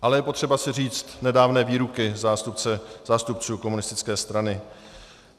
Ale je potřeba si říct nedávné výroky zástupců komunistické strany.